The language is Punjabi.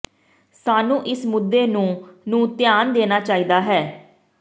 ਸਾਨੂੰ ਇਸ ਮੁੱਦੇ ਨੂੰ ਨੂੰ ਧਿਆਨ ਦੇਣਾ ਚਾਹੀਦਾ ਹੈ